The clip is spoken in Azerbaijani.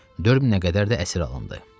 4000-ə qədər də əsir alındı.